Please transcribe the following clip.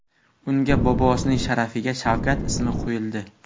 Unga bobosining sharafiga Shavkat ismi qo‘yildi.